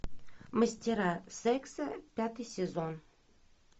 мастера секса пятый сезон